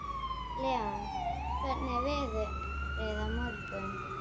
Leona, hvernig er veðrið á morgun?